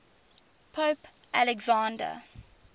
pope alexander